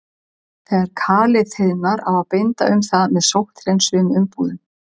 Þegar kalið þiðnar á að binda um það með sótthreinsuðum umbúðum.